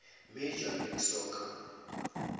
major league soccer